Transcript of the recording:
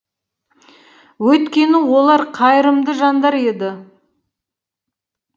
өйткені олар қайырымды жандар еді